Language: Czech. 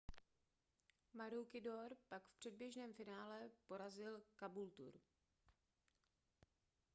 maroochydore pak v předběžném finále porazil caboolture